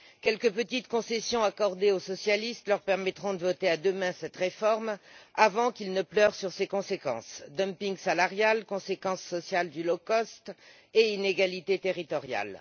Quelques petites concessions accordées aux socialistes leur permettront de voter demain en faveur de cette réforme avant qu'ils ne pleurent sur ses conséquences dumping salarial, conséquences sociales du low cost et inégalités territoriales.